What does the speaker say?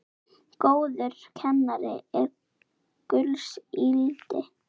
Góður kennari er gulls ígildi.